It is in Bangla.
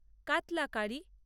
কাতলা কারি